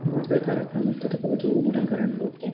ಮದುವೆ ಕಾರ್ಯ ಹೂವಿನ ಅಲಂಕಾರ ನಡಿಯುತ್ತೆ.